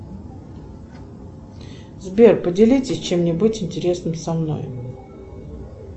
сбер поделитесь чем нибудь интересным со мной